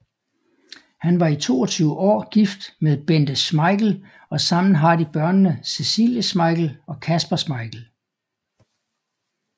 Han var i 22 år gift med Bente Schmeichel og sammen har de børnene Cecilie Schmeichel og Kasper Schmeichel